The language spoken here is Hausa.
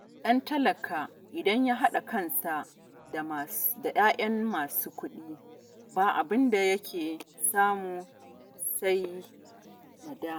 Ɗan talaka idan ya haɗa kansa da 'ya'yan masu kuɗi, ba abin da yake samu sai nadama